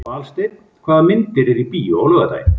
Valsteinn, hvaða myndir eru í bíó á laugardaginn?